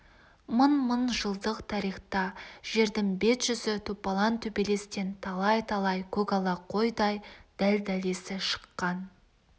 мың-мың жылдық тарихта жердің бет-жүзі топалаң төбелестен талай-талай көкала қойдай дәл-дәлесі шыққан